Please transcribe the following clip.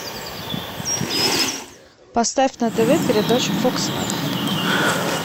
поставь на тв передачу фокс лайф